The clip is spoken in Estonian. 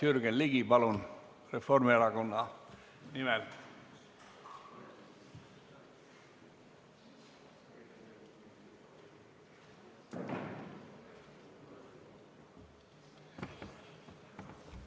Jürgen Ligi, palun, Reformierakonna nimel!